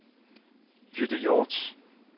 Jytte Hjorth